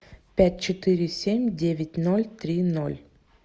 пять четыре семь девять ноль три ноль